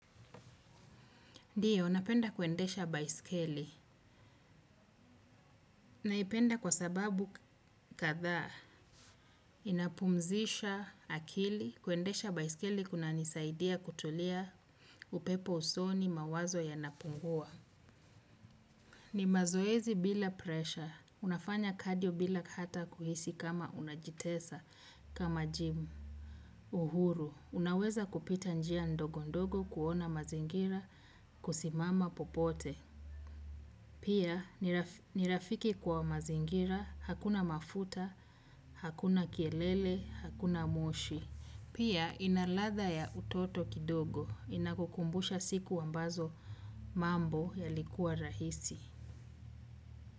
Ndiyo napenda kuendesha baisikeli. Naipenda kwa sababu katha, inapumzisha akili, kuendesha baiskeli kuna nisaidia kutulia upepo usoni mawazo yanapungua. Ni mazoezi bila presha, unafanya kadio bila kata kuhisi kama unajitesa, kama jimu, uhuru. Unaweza kupita njia ndogo ndogo kuona mazingira kusimama popote. Pia ni rafiki kwa mazingira hakuna mafuta hakuna kelele hakuna moshi. Pia inalatha ya utoto kidogo, inakukumbusha siku ambazo mambo yalikuwa rahisi.